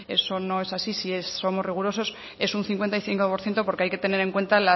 eso no es así si somos rigurosos es un cincuenta y cinco por ciento porque hay que tener en cuenta